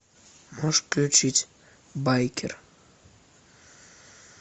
можешь включить байкер